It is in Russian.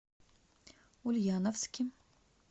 ульяновске